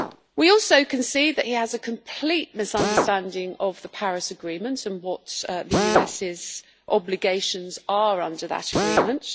We can also see that he has a complete misunderstanding of the Paris Agreement and what the US's obligations are under that Agreement.